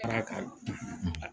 Ara ka